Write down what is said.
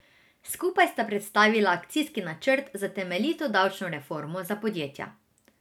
Skupaj sta predstavila akcijski načrt za temeljito davčno reformo za podjetja.